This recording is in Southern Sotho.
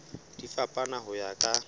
di fapana ho ya ka